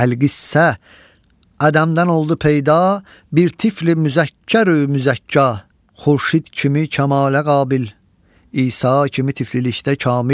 Əlqissə, ədmdən oldu peyda bir tifli müzəkkər müzəkka, xurşid kimi kəmalə qabil, İsa kimi tiflilikdə kamil.